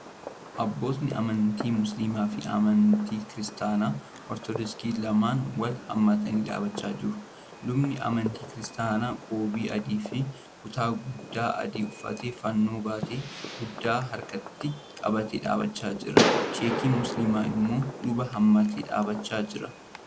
Abbootiin amantiii Musliimaa fi amantii Kiristaanaa Ortoodoksii lamaan wal haammatanii dhaabbachaa jiru. Lubni amantii kiristaanaa qoobii adii fi kutaa guddaa adii uffatee fannoo battee guddaa harkatti. qabatee dhaabbachaa jira. Sheekiin Musliimaa immoo luba hammatee dhaabbachaa jira.